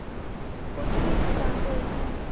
ਕੁਛ ਨੀ ਦੁਕਾਨ ਤੇ ਆਈ ਸੀ ਹੁਣੇ